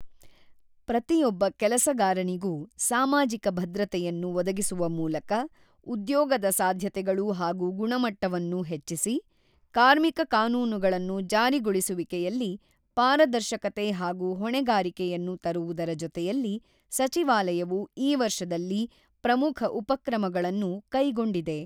ಪ್ರತಿಯೊಬ್ಬ ಕೆಲಸಗಾರನಿಗೂ ಸಾಮಾಜಿಕ ಭದ್ರತೆಯನ್ನು ಒದಗಿಸುವಮೂಲಕ ಉದ್ಯೋಗದ ಸಾಧ್ಯತೆಗಳು ಹಾಗೂ ಗುಣಮಟ್ಟವನ್ನು ಹೆಚ್ಚಿಸಿ, ಕಾರ್ಮಿಕ ಕಾನೂನುಗಳನ್ನು ಜಾರಿಗೊಳಿಸುವಿಕೆಯಲ್ಲಿ ಪಾರದರ್ಶಕತೆ ಹಾಗೂ ಹೊಣೆಗಾರಿಕೆಯನ್ನು ತರುವುದರ ಜೊತೆಯಲ್ಲಿ ಸಚಿವಾಲಯವು ಈ ವರ್ಷದಲ್ಲಿ ಪ್ರಮುಖ ಉಪಕ್ರಮಗಳನ್ನು ಕೈಗೊಂಡಿದೆ.